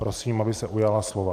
Prosím, aby se ujala slova.